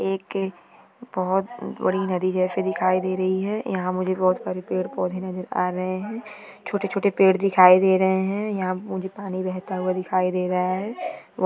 एक बहुत बड़ी नदी जैसी दिखाई दे रही है यहाँ मुझे बहुत सारे पेड़ पौधे नजर आ रहे है छोटे-छोटे पेड़ दिखाई दे रहे है यहाँ मुझे पानी बहता हुआ दिखाई दे रहा है।